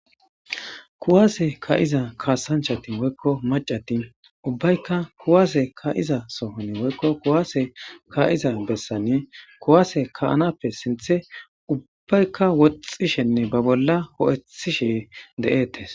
Kuwaase ka7iza kaasanchatin woykko macatin ubbaykka kuwaase ka iza sohoni woykko kuwaase ka7iza bessanie kuwaase kaanappe sinthe ubbaykka woxxishenne ba bolla ho7ethishe de7etes